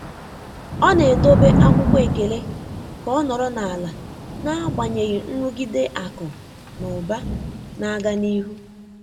Ọ́ nà-édòbé ákwụ́kwọ́ ékèlé kà ọ́ nọ́rọ́ n’álá n’ágbànyéghị́ nrụ́gídé ákụ̀ nà ụ́bà nà-ágá n’íhú.